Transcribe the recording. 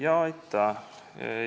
Aitäh!